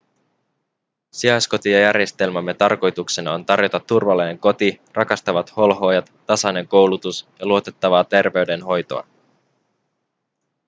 sijaiskotijärjestelmämme tarkoituksena on tarjota turvallinen koti rakastavat holhoojat tasainen koulutus ja luotettavaa terveydenhoitoa